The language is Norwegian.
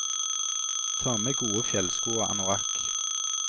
Ta med gode fjellsko og anorakk.